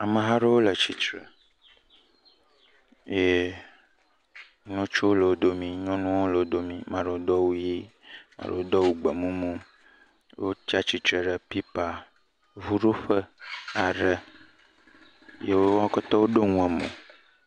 Ameha aɖewo le tsitre ye ŋutsuwo le domi, nyɔnuwo hã le wo domi, amea ɖewo do awu ʋɛ̃, amea ɖewo do awu gbemumu ye wotsatsitre ɖe pipa ŋuɖoƒe aɖe. Ye wo katã woɖo nu emo.